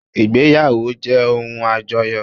Ìgbéyàwó jẹ́ ohun àjọyọ̀